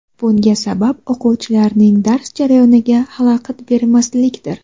Bunga sabab o‘quvchilarning dars jarayoniga xalaqit bermaslikdir.